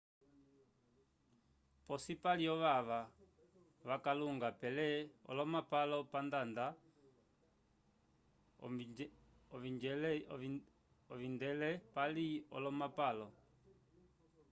posi pali ovava vakalunga pele olomapalo pandada ovingedelei pali olomapalo